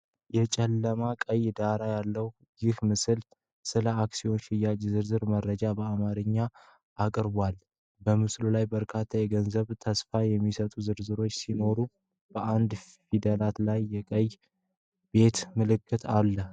የጨለማ ቀይ ዳራ ያለው ይህ ምስል ስለ አክሲዮን ሽያጭ ዝርዝር መረጃዎችን በአማርኛ ያቀርባል። በስዕሉ ላይ በርካታ የገንዘብ ተስፋ የሚሰጡ ዝርዝሮች ሲኖሩ፣ በአንዳንድ ፊደላት ላይ የቀይ ቤት ምልክት አሉት።